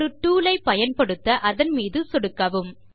ஒரு டூல் ஐ பயன்படுத்த அதன் மீது சொடுக்கவும்